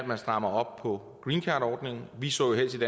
man strammer op på greencardordningen vi så helst